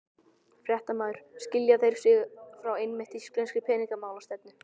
Fréttamaður: Skilja þeir sig frá einmitt íslenskri peningamálastefnu?